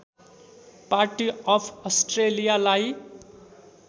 party of अस्ट्रेलियालाई